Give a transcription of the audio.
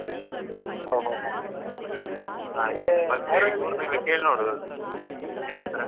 ಓಹ್ ಓಹ್ ಓಹ್ ಯಾರತ್ರ?